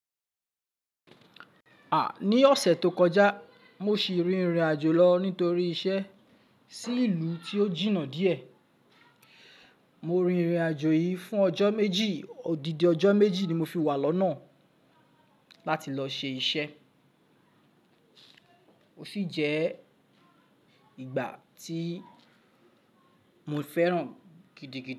À! Ní ọ̀sẹ̀ tó kọjá, mo sì rìnrìnàjò lọ nítorí iṣẹ́ sí ìlú tí ó jìnnà díẹ̀. Mo rìnrìnàjò yìí fún ọjọ́ méjì, odidi ọjọ́ méjì ni mo fi wà lọ́nà láti lọ ṣe iṣẹ́. Ó sì jẹ́ ìgbà tí mo fẹ́ràn gidigidi.